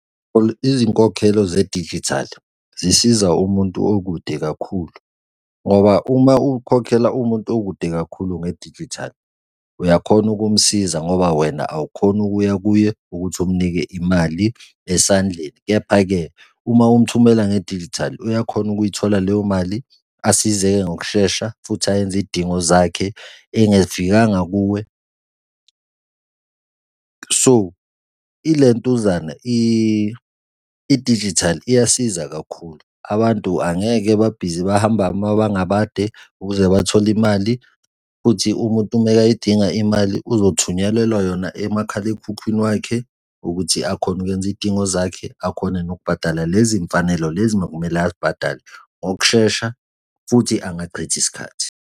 Izinkokhelo zedijithali zisiza umuntu okude kakhulu ngoba uma ukhokhela umuntu okude kakhulu ngedijithali, uyakhona ukumsiza, ngoba wena awukhoni ukuya kuye ukuthi umnike imali esandleni. Kepha-ke, uma umthumela ngedijithali uyakhona ukuyithola leyo mali asizeke ngokushesha futhi ayenze iy'dingo zakhe engafikanga kuwe. So ilentuzana, idijithali iyasiza kakhulu, abantu angeke babhizi bahambe amabanga amade ukuze bathole imali futhi umuntu umekayidinga imali, uzothumelela yona emakhalekhukhwini wakhe, ukuthi akhone ukwenza iy'dingo zakhe akhone nokubhadala lezi y'mfanelo lezi makumele ay'bhadale ngokushesha futhi angachithi sikhathi.